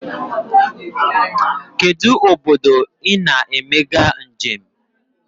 Kedụ obodo I na-emega njem?